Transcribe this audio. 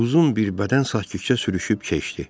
Uzun bir bədən sakitcə sürüşüb keçdi.